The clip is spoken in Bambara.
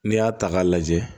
N'i y'a ta k'a lajɛ